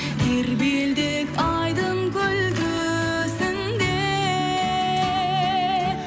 тербелдік айдын көл төсінде